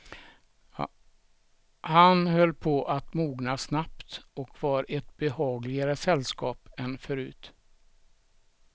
Han höll på att mogna snabbt och var ett behagligare sällskap än förut.